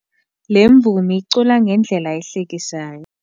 Le mvumi icula ngendlela ehlekisayo.